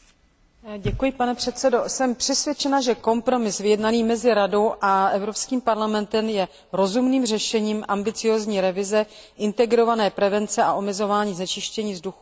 Jsem přesvědčena, že kompromis vyjednaný mezi Radou a Evropským parlamentem je rozumným řešením ambiciózní revize integrované prevence a omezování znečištění vzduch emisemi v Unii.